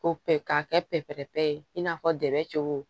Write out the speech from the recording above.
Ko pɛ k'a kɛ pɛpɛrɛ pɛ i n'a fɔ dɛ cogo